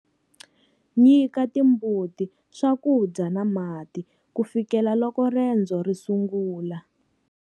Nyika timbuti swakudya na mati ku fikela loko rendzo ri sungula.